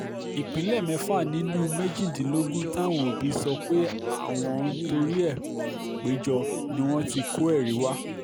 ìpínlẹ̀ mẹ́fà nínú méjìdínlógún táwọn òbí sọ pé àwọn ń ń torí ẹ̀ péjọ ni wọ́n ti kọ́ ẹ̀rí wa